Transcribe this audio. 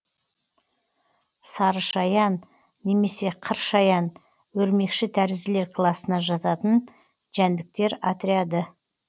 сарышаян немесе қыршаян өрмекшітәрізділер класына жататын жәндіктер отряды